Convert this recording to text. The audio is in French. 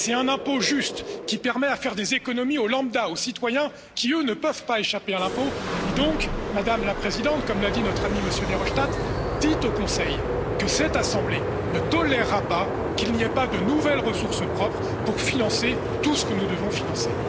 c'est un impôt juste, qui permet de faire des économies aux citoyens lambda qui, eux, ne peuvent pas échapper à l'impôt. Alors, Madame la Présidente, comme l'a dit notre ami, M. Verhofstadt, dites au Conseil que cette assemblée ne tolérera pas qu'il n'y ait pas de nouvelles ressources propres pour financer tout ce que nous devons financer.